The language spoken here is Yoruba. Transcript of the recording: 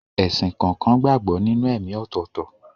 Ẹ̀sìn kọ̀ọ̀kan gbàgbọ́ nínú ẹ̀ẹ̀mí ọ̀tọ̀ọ̀tọ̀.